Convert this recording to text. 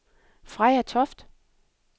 Freja Toft